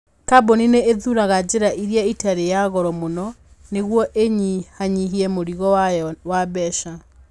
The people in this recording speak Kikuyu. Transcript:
Kambuni nĩ ĩthuuraga njĩra ĩrĩa ĩtarĩ ya goro mũno nĩguo ĩnyihanyihie mũrigo wayo wa mbeca.